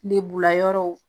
Lebula yɔrɔw